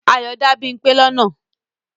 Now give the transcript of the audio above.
Ayọ dá Bímpé lọ́nà.